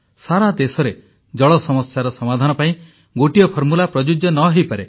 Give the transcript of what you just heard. ସାରାଦେଶରେ ଜଳ ସମସ୍ୟାର ସମାଧାନ ପାଇଁ ଗୋଟିଏ ଫର୍ମୁଲା ପ୍ରଯୁଜ୍ୟ ନ ହୋଇପାରେ